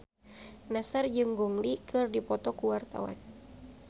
Nassar jeung Gong Li keur dipoto ku wartawan